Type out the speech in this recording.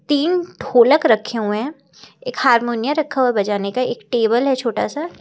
तीन ढोलक रखे हुए हैं एक हारमोनिया रखा है बजाने का एक टेबल है छोटा सा--